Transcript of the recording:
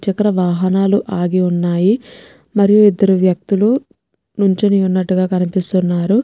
చక్ర వాహనాలు ఆగిఉన్నాయి మరియు ఇద్దరు వ్యక్తులు నుంచొనిఉన్నటుగా కనిపిస్తున్నారు.